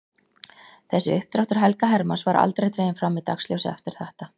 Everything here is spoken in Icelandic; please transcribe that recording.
Þessi uppdráttur Helga Hermanns var aldrei dreginn fram í dagsljósið eftir þetta.